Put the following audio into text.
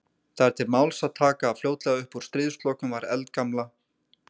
Þar er til máls að taka að fljótlega uppúr stríðslokum var eldgamla